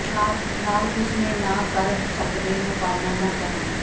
ਨਾਲ ਉਸ ਨੇ ਨਾ ਕਰ ਸਕਦੇ ਹੋ ਪਾਲਣਾ ਨਾ ਕਰਨ